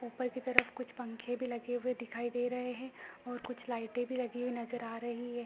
ऊपर की तरफ कुछ पंखे भी लगे हुए दिखाई दे रहे हैं और कुछ लाइटें भी लगे हुए नजर आ रही है।